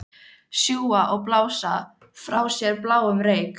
Sjúga og blása frá sér bláum reyk.